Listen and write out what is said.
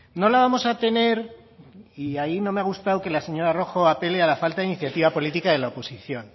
no la vamos a tener y ahí no me ha gustado que la señora roja apele a la falta de iniciativa política de la oposición